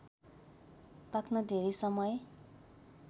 पाक्न धेरै समय